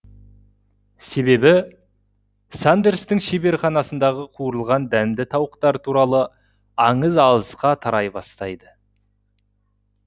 себебі сандерстің шеберханасындағы қуырылған дәмді тауықтары туралы аңыз алысқа тарай бастайды